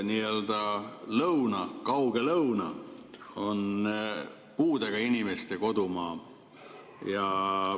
Nii-öelda kauge lõuna on puudega inimeste kodumaa.